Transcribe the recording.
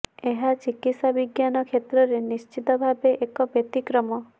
ଏହା ଚିକିତ୍ସା ବିଜ୍ଞାନ କ୍ଷେତ୍ରରେ ନିଶ୍ଚିତ ଭାବେ ଏକ ବ୍ୟତିକ୍ରମ